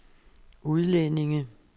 udlændinge